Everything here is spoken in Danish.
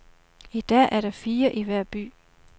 I dag er der fire i hver by.